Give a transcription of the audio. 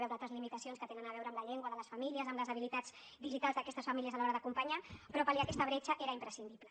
veure altres limitacions que tenen a veure amb la llengua de les famílies amb les habilitats digitals d’aquestes famílies a l’hora d’acompanyar però pal·liar aquesta bretxa era imprescindible